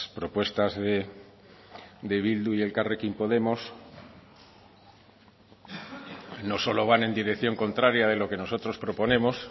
propuestas de bildu y elkarrekin podemos no solo van en dirección contraria de lo que nosotros proponemos